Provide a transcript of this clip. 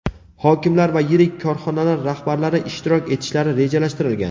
hokimlar va yirik korxonalar rahbarlari ishtirok etishlari rejalashtirilgan.